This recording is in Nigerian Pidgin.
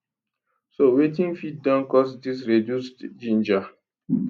so wetin fit don cause dis reduced ginger